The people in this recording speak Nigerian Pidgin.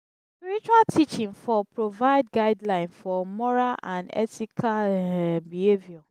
spiritual teaching for provide guideline for moral and ethical behaviour